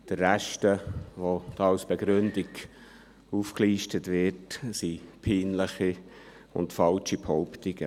Der Rest dessen, was als Begründung aufgelistet wird, sind peinliche und falsche Behauptungen.